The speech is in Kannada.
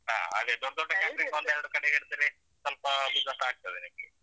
ಹಾ ಹಾಗೆ ದೊಡ್ಡ ದೊಡ್ಡ catering ಒಂದೆರಡು ಕಡೆ ಇಡತೀರಿ ಸ್ವಲ್ಪ business ಆಗ್ತದೆ ನಿಮ್ಗೆ.